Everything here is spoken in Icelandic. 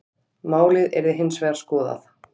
Málið yrði hins vegar skoðað.